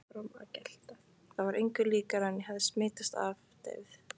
Það var engu líkara en ég hefði smitast af deyfð